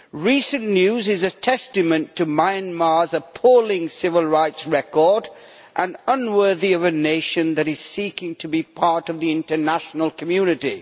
Recent news is a testament to Myanmar's appalling civil rights record and unworthy of a nation that is seeking to be part of the international community.